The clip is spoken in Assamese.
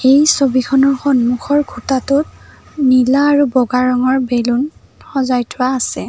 এই ছবিখনৰ সন্মুখৰ খুঁটাটোত নীলা আৰু বগা ৰঙৰ বেলুন সজাই থোৱা আছে।